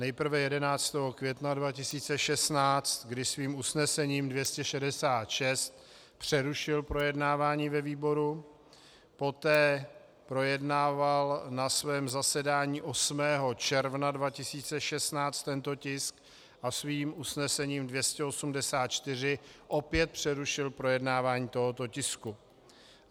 Nejprve 11. května 2016, kdy svým usnesením 266 přerušil projednávání ve výboru, poté projednával na svém zasedání 8. června 2016 tento tisk a svým usnesením 284 opět přerušil projednávání tohoto tisku.